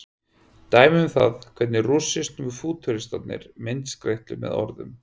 dæmi um það hvernig rússnesku fútúristarnir myndskreyttu með orðum